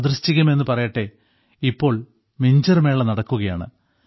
യാദൃശ്ചികം എന്നുപറയട്ടെ ഇപ്പോൾ മിഞ്ചർ മേള നടക്കുകയാണ്